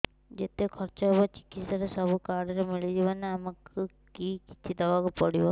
ଯେତେ ଖର୍ଚ ହେବ ଚିକିତ୍ସା ରେ ସବୁ କାର୍ଡ ରେ ମିଳିଯିବ ନା ଆମକୁ ବି କିଛି ଦବାକୁ ପଡିବ